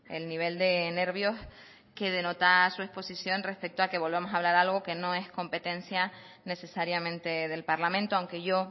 el nivel de nervios que denota su exposición respecto a que volvamos a hablar algo que no es competencia necesariamente del parlamento aunque yo